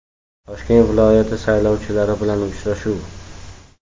Toshkent viloyati saylovchilari bilan uchrashuv.